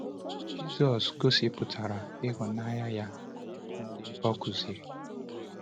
Jisọs gosipụtara ịhụnanya nye ndị o kụziri.